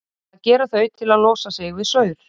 Það gera þau til að losa sig við saur.